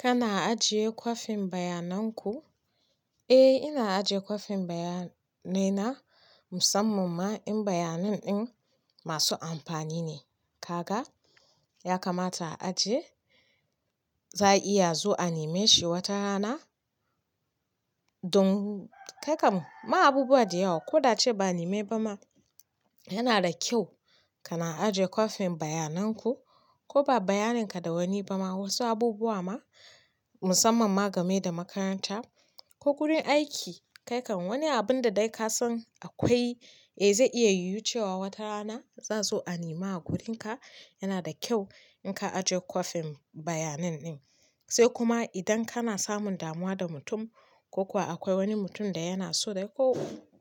Kana ajiye kwafin bayananku? Eh, ina ajiye kwafin bayanai na musamman ma in bayanen ɗin masu amfani ne. Kaga, ya kamata a ajiye. Za a iya zuwa a nime shi wata rana. Don, kai kam ma abubuwa da yawa. Ko da a ce ba a neme ba ma, yana da kyau kana ajiye kwafin bayananku. Ko ba bayaninka da wani ba ma, wasu abubuwa ma musamman ma game da makaranta ko gurin aiki. Kai kam wani abun da dai ka san akwai, eh zai iya yiwucewa wata rana za su zo a nime a wurinka, yana da kyau in ka ajiye kwafin bayanin ɗin. Sai kuma idan kana samun damuwa da mutum ko kuwa akwai wani mutum da yana so dai ko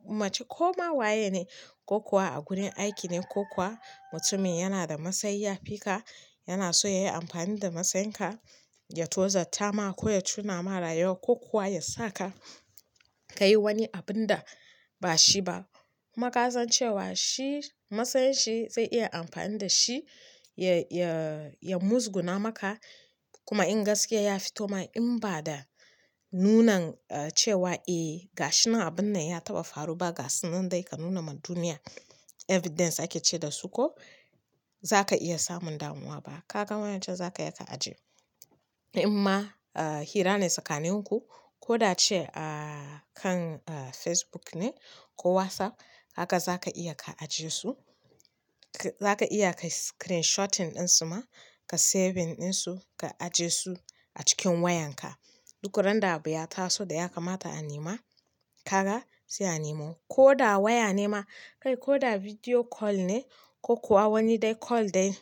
mace ko ma waye ne, ko kuwa a gurin aiki ne ko kuwa mutumin yana da masayi yafi ka, yana so yayi amfani da masaynka, ya tozattama ko ya cuna ma rayuwa ko kuwa ya saka kayi wani abun da ba shi ba. Kuma kasancewa shi masayin shi zai iya amfani da shi ya-ya-ya muzguna maka. Kuma in gaskiya ya fito ma in ba da nunan cewa eh gashinan abun nan ya taɓa faru ba, gashinan dai ka nuna ma duniya evidence ake ce da su ko zaka iya samun damuwa ba. Kaga wayancan zakaya ka ajiye. In ma, ah hira ne tsakaninku ko da a ce a kan Facebook ne ko WhatsApp, haka zaka iya ka ajiye su. Zaka iya ka screenshotting ɗin su ma, ka saving ɗinsu ka ajiye su a cikin wayanka. Duk ran da abu ya taso da ya kamata a nima, kaga, sai a nemo. Ko da waya ne ma, kai ko da video call ne ko kuwa wani dai call dai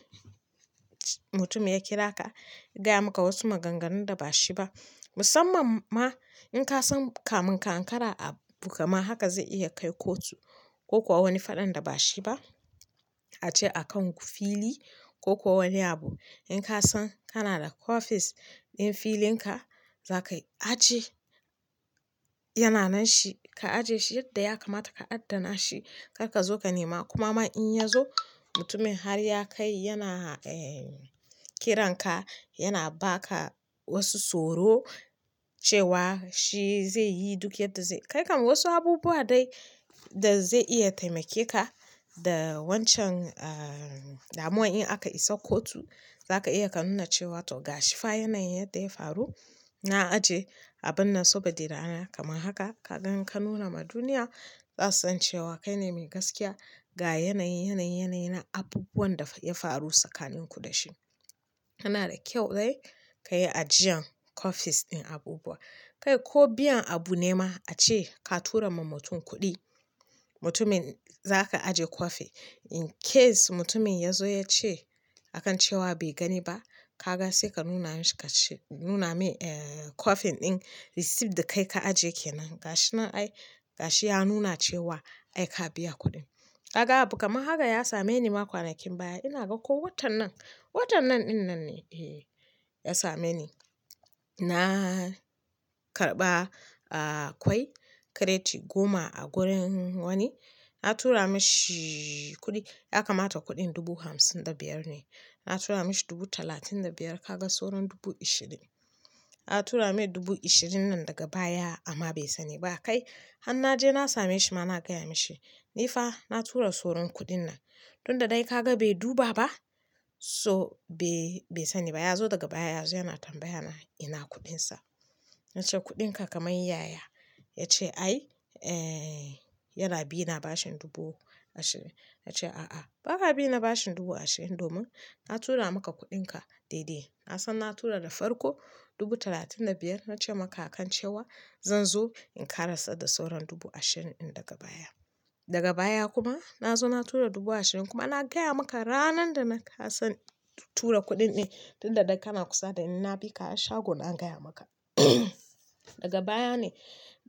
mutumin ya kira ka, ya gaya maka wasu maganganun da ba shi ba. Musamman ma in ka san kamun ƙa anƙara a bukama haka zai iya kai kotu ko kuwa wani faɗan da ba shi ba. Ace a kan ku fili ko kuwa wani abu. In ka san kana da copies ɗin filinka, za kai ajiye. Yana nan shi, ka ajiye shi yadda ya kamata ka adana shi kar ka zo ka nema. Kuma ma in ya zo mutumin har ya kai yana eh kiran ka, yana ba ka wasu tsoro cewa shi zai yi duk yadda zai-- kai kam wasu abubuwa dai da zai iya taimake ka da wancan ah damuwan in aka isa kotu, za ka iya ka nuna cewa to ga shifa yanayin yadda ya faru. Na ajiye abun nan sabo de rana kamar haka. Kaga in ka nuna ma duniya za su san cewa kaine mai gaskiya ga yanayin, yanayin, yanayina abubuwan da ya faru tsakaninku da shi. Yana da kyau dai ka yi ajiyan copies ɗin abubuwa. Kai ko biyan abu ne ma ace ka tura ma mutum kuɗi, mutumin za ka ajiye copy in case mutumin ya zo ya ce akan cewa bai gani ba. Kaga sai ka nuna mishi ka ce-- nuna mai eh copy ɗin receipt da kai ka ajiye kenan. Gashi nan ai, gashi ya nuna cewa ai ka biya kuɗin. Kaga abu kaman haka ya same ni ma kwanakin baya. Ina ga ko watan nan, watan nan ɗin nan ne, eh ya same ni. Na karɓa akwai crate goma a gurin wani. Na tura mishi kuɗi. Ya kamata kuɗin dubu hamsin da biyar ne. Na tura mishi dubu talatin da biyar. Kaga soran dubu ishirin. Na tura mai dubu ashirin nan daga baya amma bai sani ba. Kai, har na je na same shi ma na gaya mashi, "Ni fa na tura soron kuɗin nan." Tun da dai kaga bai duba ba, so be-bai sani ba. Ya zo daga baya ya zo yana tambaya na, "ina kuɗinsa?" Na ce, "Kuɗinka kaman yaya." Ya ce, "Ai, eh yana bi na bashin dubu ashirin." Na ce, "A'a, ba ka bi na bashin dubu ashirin domin na tura maka kuɗinka daidai." Na san na tura da farko dubu talatin da biyar. Na ce maka akan cewa zan zo in ƙarasa da sauran dubu ashirin ɗin daga baya. Daga baya kuma na zo na tura dubu ashirin kuma na gaya maka ranan da na ka san tura kuɗin ɗin. Tun da dai kana kusa da ni na bi ka har shago na gaya maka. Daga baya ne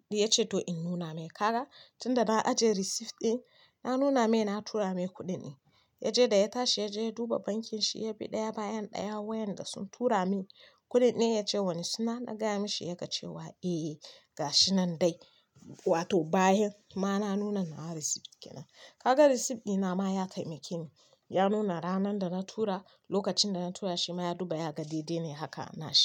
ya ce to in nuna mai. Kaga, tun da na ajiye receipt ɗin, na nuna mai na tura mai kuɗin ɗin. Ya je da ya tashi ya je ya duba bankin shi ya bi ɗaya bayan ɗaya wayan da sun tura min kuɗin ɗin ya ce wani suna na gaya mashi ya ga cewa eh ga shi nan dai. Wato bayan ma na nuna nawa receipt kenan. Kaga receipt ɗina ma ya taimake ni. Ya nuna ranan da na tura, lokacin da na tura shi ma ya duba ya ga daidai ne haka na shi.